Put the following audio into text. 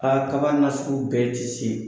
A kaba nasugu bɛɛ tɛ se.